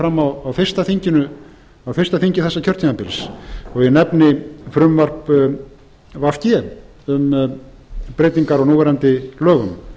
að hafi komið fram á fyrsta þingi þessa kjörtímabils ég nefni frumvarp v g um breytingar á núverandi lögum